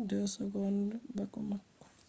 1:09.02 bako mako